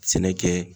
Sɛnɛ kɛ